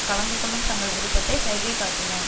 கலந்துகொள்ளும் தங்கள் விருப்பத்தை சைகை காட்டினர்